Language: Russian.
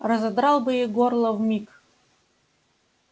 разодрал бы ей горло вмиг